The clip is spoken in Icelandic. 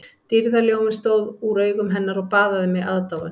Dýrðarljóminn stóð úr augum hennar og baðaði mig aðdáun